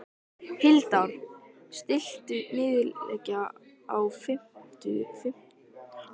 Hildar, stilltu niðurteljara á fimmtíu og fimm mínútur.